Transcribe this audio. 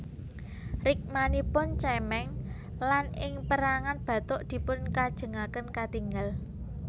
Rikmanipun cemeng lan ing perangan bathuk dipun kajengaken katingal